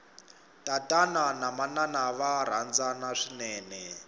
tatana na manana va rhandzana swinene